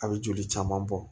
A bɛ joli caman bɔ